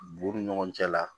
B'u ni ɲɔgɔn cɛ la